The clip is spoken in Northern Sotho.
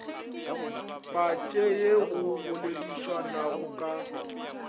patše ye go boledišwanago ka